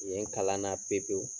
Yen kalan na pe pewu.